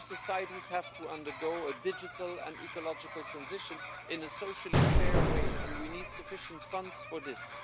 Our societies have to undergo a digital and ecological transition in a socially fair way, and we need sufficient funds for this.